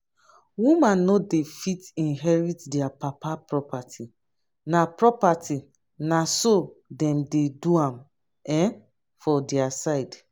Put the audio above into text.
women no dey fit inherit dia papa property na property na so dem dey do am um for dia side